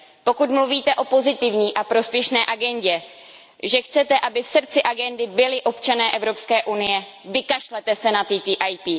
Pokud mluvíte o pozitivní a prospěšné agendě, že chcete, aby v srdci agendy byli občané Evropské unie, vykašlete se na TTIP.